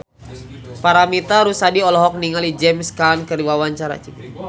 Paramitha Rusady olohok ningali James Caan keur diwawancara